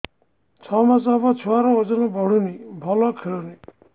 ଛଅ ମାସ ହବ ଛୁଆର ଓଜନ ବଢୁନି ଭଲ ଖେଳୁନି